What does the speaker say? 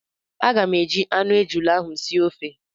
Aga m eji anụ ejula ahụ sie ofe